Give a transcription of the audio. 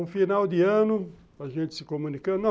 Um final de ano, a gente se comunicando.